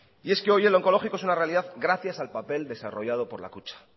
y es que hoy el oncológico es una realidad gracias al papel desarrollado por la kutxa